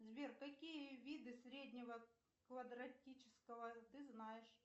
сбер какие виды среднего квадратического ты знаешь